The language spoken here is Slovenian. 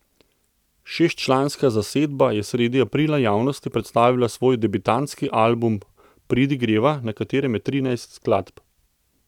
Šestčlanska zasedba je sredi aprila javnosti predstavila svoj debitantski album Pridi greva, na katerem je trinajst skladb.